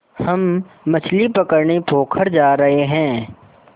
हम मछली पकड़ने पोखर जा रहें हैं